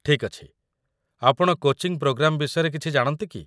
ଠିକ୍ ଅଛି, ଆପଣ କୋଚିଂ ପ୍ରୋଗ୍ରାମ୍‌ ବିଷୟରେ କିଛି ଜାଣନ୍ତି କି?